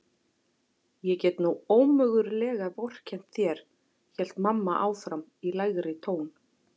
Ég get nú ómögulega vorkennt þér hélt mamma áfram í lægri tón.